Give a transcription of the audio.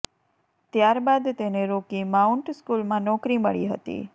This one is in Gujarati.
ત્યાર બાદ તેને રોકી માઉન્ટ સ્કૂલમાં નોકરી મળી હતી